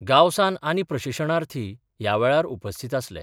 गावसान आनी प्रशिशणार्थी या वेळार उपस्थित आसले.